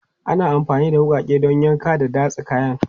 Ana amfani da wuƙaƙen don yanka da datsa kayan.